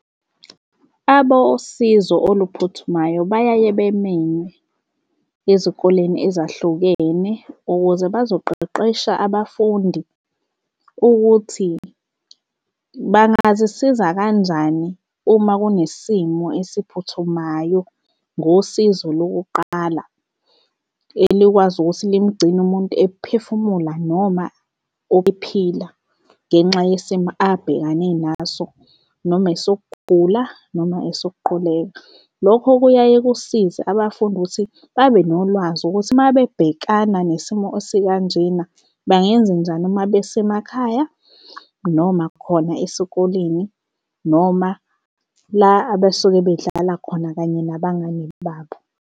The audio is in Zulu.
Abosizo oluphuthumayo bayaye bemenywe ezikoleni ezahlukene ukuze bazoqeqesha abafundi ukuthi bangazisiza kanjani uma kunesimo esiphuthumayo ngosizo lokuqala elikwazi ukuthi limgcine umuntu ephefumula noma ephila ngenxa yesimo abhekane naso noma esokugula noma esokuquleka. Lokho kuyaye kusize abafundi ukuthi babe nolwazi ukuthi uma bebhekana nesimo esikanjena bangenzenjani uma besemakhaya noma khona esikoleni noma la abesuke bedlala khona kanye nabangani babo.